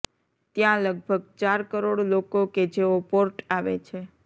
ત્યાં લગભગ ચાર કરોડ લોકો કે જેઓ પોર્ટ આવે છે